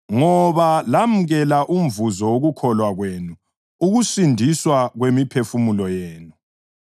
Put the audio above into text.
ngoba lamukela umvuzo wokukholwa kwenu, ukusindiswa kwemiphefumulo yenu.